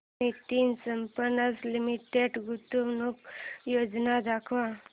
Nitin spinners limited गुंतवणूक योजना दाखव